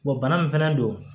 bana min fana don